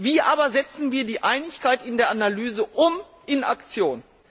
Wie aber setzen wir die Einigkeit in der Analyse um in Aktion?